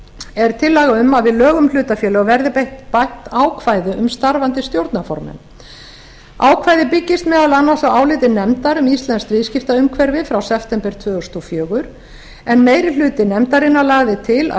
er tillaga um að við lög um hlutafélög verði bætt ákvæði um starfandi stjórnarformenn ákvæðið byggist meðal annars á áliti nefndar um íslenskt viðskiptaumhverfi frá september tvö þúsund og fjögur en meiri hluti nefndarinnar lagði til að